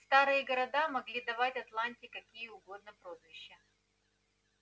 старые города могли давать атланте какие угодно прозвища